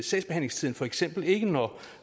sagsbehandlingstiden for eksempel ikke når